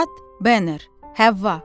Üstad bəşər Həvva.